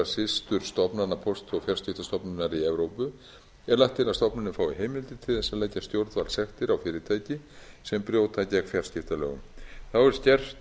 systurstofnana póst og fjarskiptastofnunar í evrópu er lagt til að stofnunin fái heimild til þess að leggja stjórnvaldssektir á fyrirtæki sem brjóta gegn fjarskiptalögunum þá er